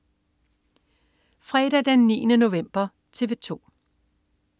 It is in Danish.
Fredag den 9. november - TV 2: